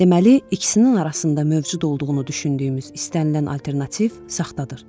Deməli, ikisinin arasında mövcud olduğunu düşündüyümüz istənilən alternativ saxtadır.